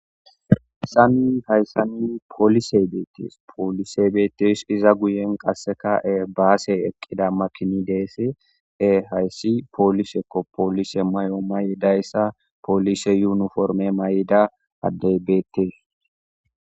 Hayssanni poolise beetees poolisee beetes iza guyen qasseka ebaase eqqida makini deese e hayssi poolisekko poolise may7o may7idayssa poolise yuniforme may7ida addeybeetees.